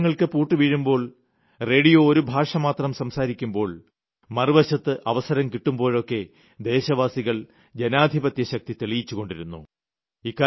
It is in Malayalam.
പത്രങ്ങൾക്ക് പൂട്ട് വീഴുമ്പോൾ റേഡിയോ ഒരു ഭാഷമാത്രം സംസാരിക്കുമ്പോൾ മറുവശത്ത് അവസരം കിട്ടുമ്പോഴൊക്കെ ദേശവാസികൾ ജനാധിപത്യശക്തി തെളിയിപ്പിച്ചുകൊണ്ടിരിക്കുന്നു